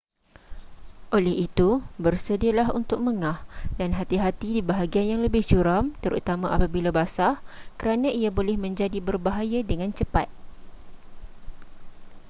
oleh itu bersedialah untuk mengah dan hati-hati di bahagian yang lebih curam terutama apabila basah kerana ia boleh menjadi berbahaya dengan cepat